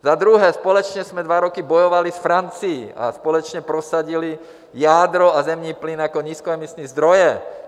Za druhé, společně jsme dva roky bojovali s Francií a společně prosadili jádro a zemní plyn jako nízkoemisní zdroje.